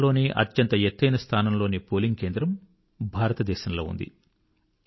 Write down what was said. ప్రపంచంలోనే అత్యంత ఎత్తైన స్థానంలోని పోలింగ్ కేంద్రం భారతదేశంలో ఉంది